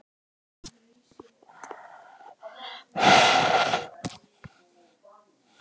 En hvenær má búast við fyrsta borpalli?